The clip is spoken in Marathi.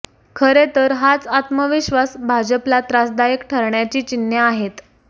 खरे तर हाच आत्मविश्वास भाजपला त्रासदायक ठरण्याची चिन्हे आहेत